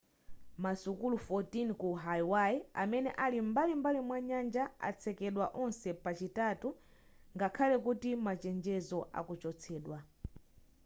masukulu 14 ku hawaii amene ali m'bali mwanyanja atsekedwa onse pa chitatu ngakhale kuti machenjezo akuchotsedwa